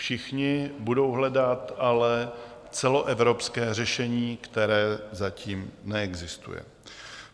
Všichni budou hledat ale celoevropské řešení, které zatím neexistuje.